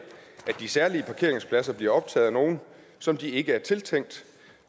at de særlige parkeringspladser bliver optaget af nogle som de ikke er tiltænkt